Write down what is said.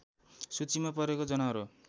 सूचीमा परेको जनावर हो